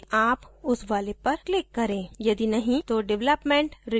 यदि नहीं तो development release पर click करें